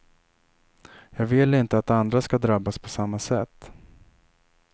Jag vill inte att andra ska drabbas på samma sätt.